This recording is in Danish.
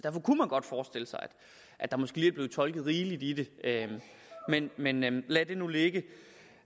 at der måske lige er blevet tolket rigeligt i det men men lad det nu ligge